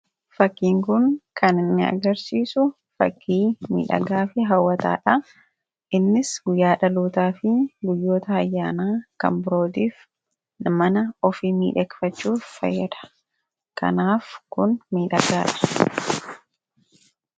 Fakkiin kun kan inni agarsiisu fakkii miidhagaa fi hawwataadha. Innis guyyaa dhalootaa fi guyyoota ayyaanaa kan birootiif mana ofii miidhagfachuuf fayyada. Kanaaf kun miidhagaadha.